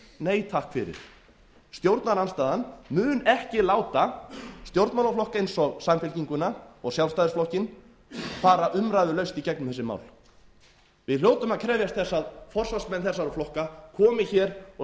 nei takk fyrir stjórnarandstaðan mun ekki láta stjórnmálaflokka eins og samfylkinguna og sjálfstæðisflokkinn fara umræðulaust í gegnum þessi mál við hljótum að krefjast þess að forsvarsmenn þessara flokka komi hér og